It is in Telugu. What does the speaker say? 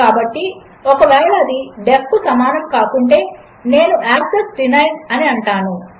కాబట్టిఒకవేళఅది డీఇఎఫ్ కుసమానముకాకుంటే నేను యాక్సెస్ డీనైడ్ అనిఅంటాను